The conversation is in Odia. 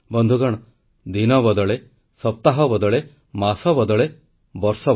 ବନ୍ଧୁଗଣ ଗଣତନ୍ତ୍ର ଦିବସ ସମାରୋହ ଯୋଗୁଁ ଆପଣଙ୍କ ସହ ହେବାକୁ ଥିବା ମନର କଥା ସମୟକୁ ପରିବର୍ତ୍ତନ କରିବା ଉଚିତ ମନେ ହେଲା